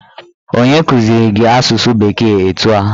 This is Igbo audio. Onye kụziri gị asụsụ bekee etu a?